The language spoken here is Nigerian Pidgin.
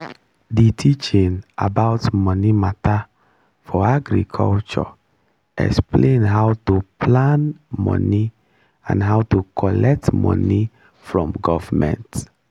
the teaching about money matter for agriculture explain how to plan money and how to collect money form government